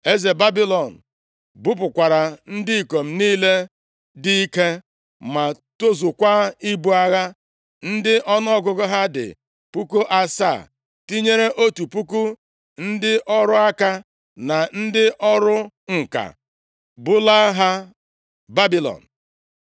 Eze Babilọn bupụkwara ndị ikom niile dị ike ma tozukwaa ibu agha, ndị ọnụọgụgụ ha dị puku asaa, tinyere otu puku ndị ọrụ aka, na ndị ọrụ ǹka, bulaa ha Babilọn.